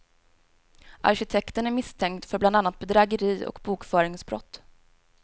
Arkitekten är misstänkt för bland annat bedrägeri och bokföringsbrott.